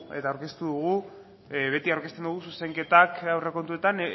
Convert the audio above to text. eta aurkeztu dugu beti aurkezten dugu zuzenketak aurrekontuetan